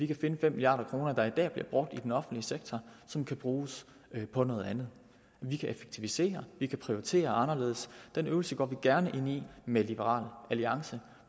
kan finde fem milliard kr der i dag bliver brugt i den offentlige sektor som kan bruges på noget andet vi kan effektivisere vi kan prioritere anderledes den øvelse går vi gerne ind i med liberal alliance